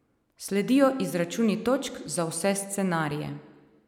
Sledijo izračuni točk za vse scenarije.